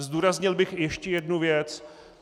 Zdůraznil bych ještě jednu věc.